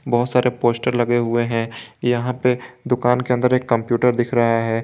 बहुत सारे पोस्टर लगे हुए हैं यहां पे दुकान के अंदर एक कंप्यूटर दिख रहा है।